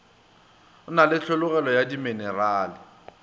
na le tlholego ya diminerale